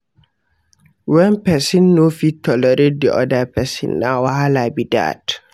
When persin no fit tolerate di other persin na wahala be that